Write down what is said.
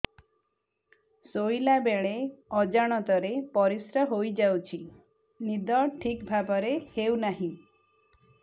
ଶୋଇଲା ବେଳେ ଅଜାଣତରେ ପରିସ୍ରା ହୋଇଯାଉଛି ନିଦ ଠିକ ଭାବରେ ହେଉ ନାହିଁ